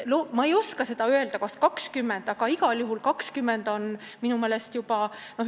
Ma ei oska öelda, kas 20 aastat on piisav.